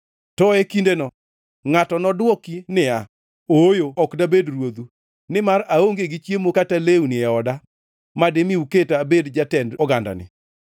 To e kindeno ngʼatno nodwoki niya, “Ooyo ok dabed ruodhu, nimar aonge gi chiemo kata lewni e oda madimi uketa abed jatend ogandani.”